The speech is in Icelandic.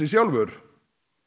sjálfur